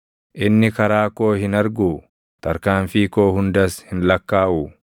Inni karaa koo hin arguu? Tarkaanfii koo hundas hin lakkaaʼuu?